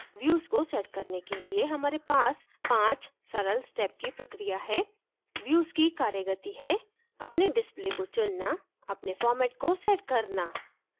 views को set करने के लिए हमारे पास 5 सरल step की प्रक्रिया है views की कार्यगति है अपने display को चुनना अपने format को सेट करना